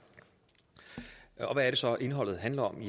hvad så indholdet handler om